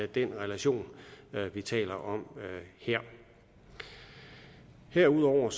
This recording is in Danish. den relation vi taler om her herudover